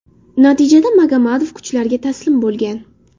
Natijada Magomadov kuchlarga taslim bo‘lgan.